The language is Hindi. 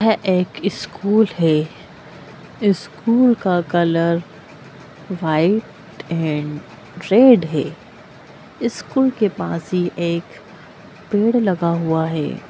यह एक स्कूल है स्कूल का कलर वाइट एंड रेड है स्कूल के पास ही एक पेड़ लगा हुआ है।